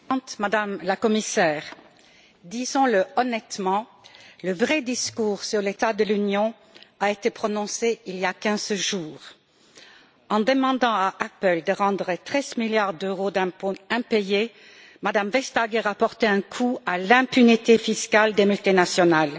Madame la Présidente, Madame la Commissaire, disons le honnêtement, le vrai discours sur l'état de l'Union a été prononcé il y a 15 jours. En demandant à Apple de rendre treize milliards d'euros d'impôts impayés, Mme Vestager a porté un coup à l'impunité fiscale des multinationales.